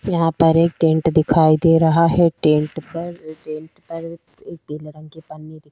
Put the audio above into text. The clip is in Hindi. यहाँ पर एक टेंट दिखाई दे रहा है टेंट पर टेंट पर एक पीले रंग की पन्नी--